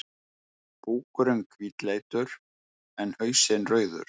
Búkurinn hvítleitur, en hausinn rauður.